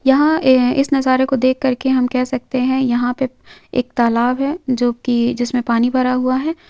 यहां ए इस नजारे को देखकर के हम कह सकते हैं यहां पे एक तालाब है जो कि जिसमे पानी भरा हुआ है ।